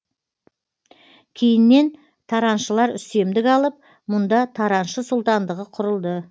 кейіннен тараншылар үстемдік алып мұнда тараншы сұлтандығы құрылды